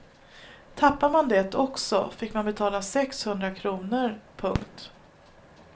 Tappade man det också fick man betala sex hundra kronor. punkt